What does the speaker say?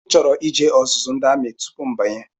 M chọrọ ije ọzụzụ ndị amị tupu mbanye